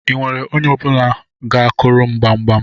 I nwere onye ga-akuru m gbamgbam?